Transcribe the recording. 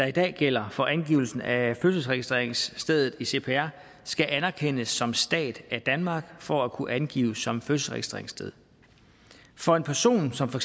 i dag gælder for angivelsen af fødselsregistreringsstedet i cpr skal anerkendes som stat af danmark for at kunne angives som fødselsregistreringssted for en person som for